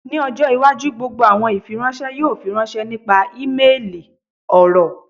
Ni ọjọ iwaju gbogbo awọn ifiranṣẹ yoo firanṣẹ nipasẹ imeeli, ọrọ